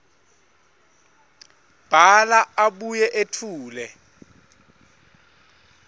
bhala abuye etfule